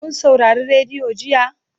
Kun saurari rediyo jiya?